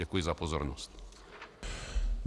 Děkuji za pozornost.